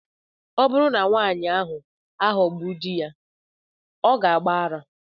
Ọ bụrụ na nwanyị ahụ aghọgbu di ya, ọ ga-agba ara.